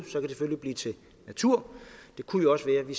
selvfølgelig blive til natur det kunne jo også være at vi